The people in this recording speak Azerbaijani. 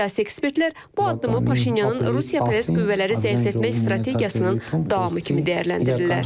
Siyasi ekspertlər bu addımı Paşinyanın Rusiyapərəst qüvvələri zəiflətmə strategiyasının davamı kimi dəyərləndirirlər.